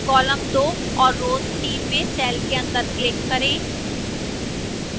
column 2 और row 3 में cell के अंदर click करें